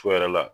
Fu yɛrɛ la